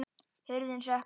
Hurðin hrökk upp!